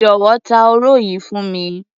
Jọ̀wọ́, ta òro yìí fún mi.